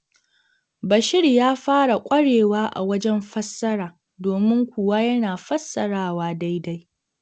Bashir ya fara ƙwarewa a wajen fassara, domin kuwa yana fassarawa daidai.